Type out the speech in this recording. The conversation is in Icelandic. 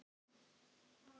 Vonar að hún fari.